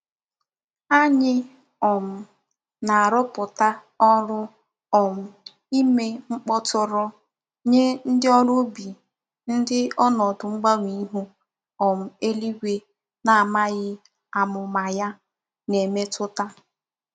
Anyi um na-aroputa órú um ime mkpoturu nye ndi órú ubi ndi onodu mgbanwe ihu um eluigwe na-amaghi amuma ya na-emetuta.